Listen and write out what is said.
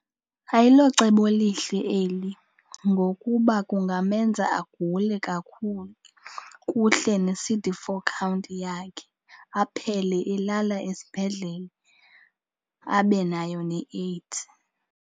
Ayilocebo lihle eli ngokuba kungamenza agule kakhulu kuhle ne-C_D four count yakhe aphele elala esibhedlele, abe nayo neAIDS.